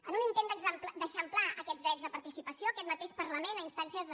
en un intent d’eixamplar aquests drets de participació aquest mateix parlament a instàncies de